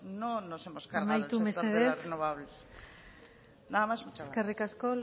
no nos hemos cargado el sector de renovables amaitu mesedez nada más muchas gracias eskerrik asko